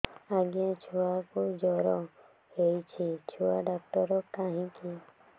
ଆଜ୍ଞା ଛୁଆକୁ ଜର ହେଇଚି ଛୁଆ ଡାକ୍ତର କାହିଁ କି